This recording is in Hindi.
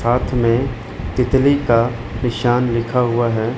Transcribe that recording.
हाथ में तितली का निशान लिखा हुआ है।